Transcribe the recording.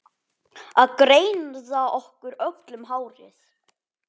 Að greiða okkur öllum hárið.